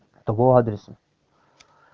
того адреса